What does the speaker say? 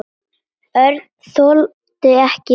Örn þoldi ekki við.